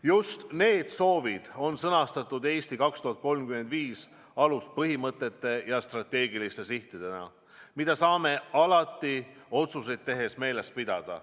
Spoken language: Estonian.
Just need soovid on sõnastatud "Eesti 2035" aluspõhimõtete ja strateegiliste sihtidena, mida saame alati otsuseid tehes meeles pidada.